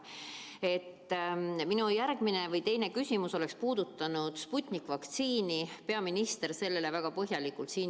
Minu teine küsimus oleks puudutanud Sputniku vaktsiini, kuid peaminister juba vastas sellele väga põhjalikult.